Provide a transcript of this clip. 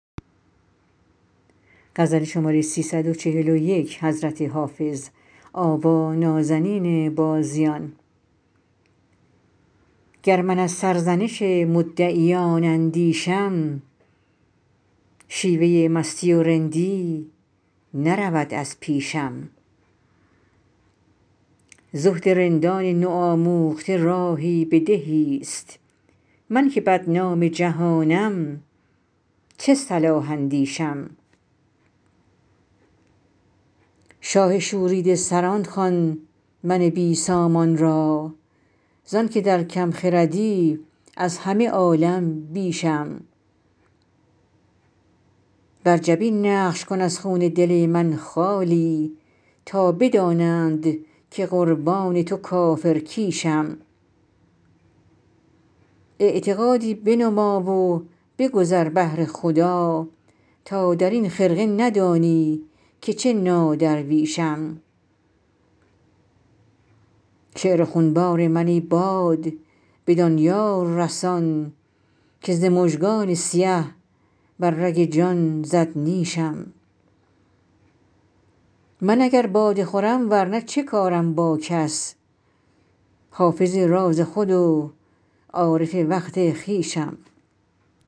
گر من از سرزنش مدعیان اندیشم شیوه مستی و رندی نرود از پیشم زهد رندان نوآموخته راهی به دهیست من که بدنام جهانم چه صلاح اندیشم شاه شوریده سران خوان من بی سامان را زان که در کم خردی از همه عالم بیشم بر جبین نقش کن از خون دل من خالی تا بدانند که قربان تو کافرکیشم اعتقادی بنما و بگذر بهر خدا تا در این خرقه ندانی که چه نادرویشم شعر خونبار من ای باد بدان یار رسان که ز مژگان سیه بر رگ جان زد نیشم من اگر باده خورم ور نه چه کارم با کس حافظ راز خود و عارف وقت خویشم